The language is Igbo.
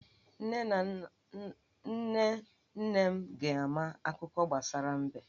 Nne nne m ga-ama akuko gbasara mbe.